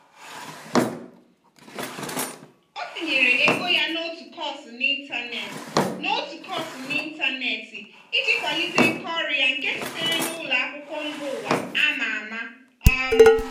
ọ tinyere ego ya n'otu kọọsụ n'ịntanetị n'otu kọọsụ n'ịntanetị iji kwalite nkà ọrụ ya nke sitere na ụlọ akwụkwọ mba ụwa a ma ama. um